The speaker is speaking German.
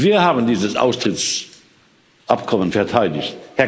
Wir haben dieses Austrittsabkommen verteidigt